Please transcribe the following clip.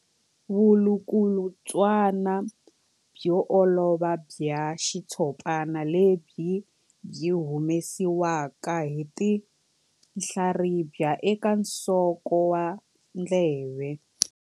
Vulukulutswana byo olova bya xitshopana lebyi byi humesiwaka hi tinhlaribya eka nsoko wa ndleve.